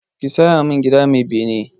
Ka saya min gida mai bene!